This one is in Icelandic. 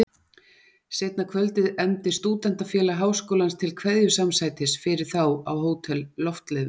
Seinna kvöldið efndi Stúdentafélag Háskólans til kveðjusamsætis fyrir þá á Hótel Loftleiðum.